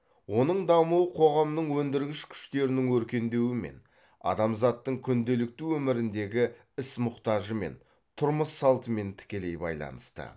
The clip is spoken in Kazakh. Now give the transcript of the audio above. оның дамуы қоғамның өндіргіш күштерінің өркендеуімен адамзаттың күнделікті өміріндегі іс мұқтажымен тұрмыс салтымен тікелей байланысты